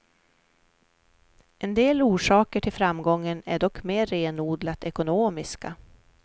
En del orsaker till framgången är dock mer renodlat ekonomiska.